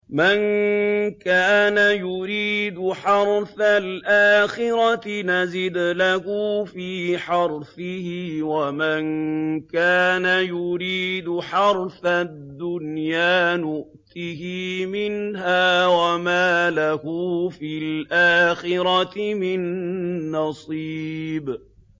مَن كَانَ يُرِيدُ حَرْثَ الْآخِرَةِ نَزِدْ لَهُ فِي حَرْثِهِ ۖ وَمَن كَانَ يُرِيدُ حَرْثَ الدُّنْيَا نُؤْتِهِ مِنْهَا وَمَا لَهُ فِي الْآخِرَةِ مِن نَّصِيبٍ